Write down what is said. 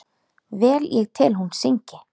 Vel ég tel hún syngi.